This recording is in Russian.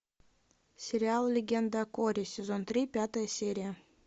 сериал легенда о корре сезон три пятая серия